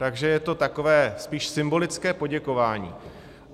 Takže je to takové spíš symbolické poděkování.